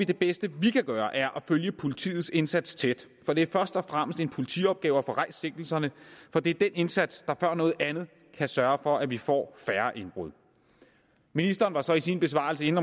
det bedste vi kan gøre er at følge politiets indsats tæt for det er først og fremmest en politiopgave at få rejst sigtelserne for det er den indsats der før noget andet kan sørge for at vi får færre indbrud ministeren var så i sin besvarelse inde